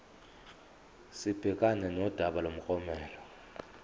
sibhekane nodaba lomklomelo